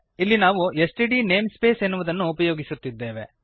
ಇಲ್ಲಿ ನಾವು STD namespace ಎನ್ನುವುದನ್ನು ಉಪಯೋಗಿಸುತ್ತಿದ್ದೇವೆ